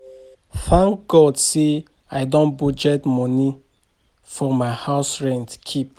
Thank God say I don budget the money for my house rent keep